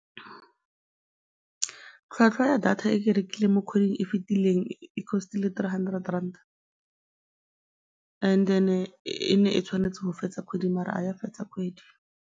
Tlhwatlhwa ya data e ke e rekileng mo kgweding e fetileng e cost-ile three hundred rand-a and then-e e ne e tshwanetse go fetsa kgwedi mara ga ya fetsa kgwedi.